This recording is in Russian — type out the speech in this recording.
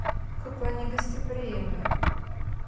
какой негостеприимный